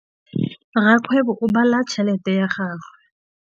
Rakgwêbô o bala tšheletê ya gagwe.